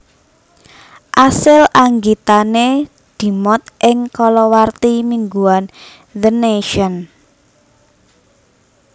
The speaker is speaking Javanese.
Asil anggitane dimot ing kalawarti mingguan The Nation